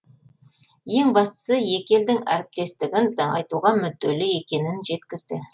ең бастысы екі елдің әріптестігін нығайтуға мүдделі екенін жеткізді